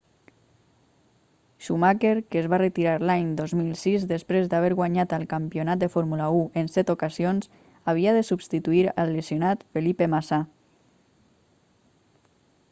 schumacher que es va retirar l'any 2006 després d'haver guanyat el campionat de fórmula 1 en set ocasions havia de substituir el lesionat felipe massa